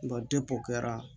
depi o kɛra